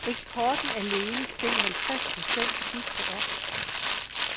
Eksporten alene steg halvtreds procent sidste år.